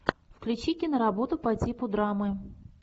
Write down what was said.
включи киноработу по типу драмы